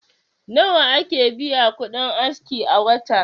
Nawa kake biya kudin aski a wata?